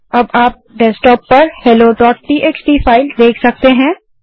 अब आप डेस्कटॉप पर helloटीएक्सटी फाइल देख सकते हैं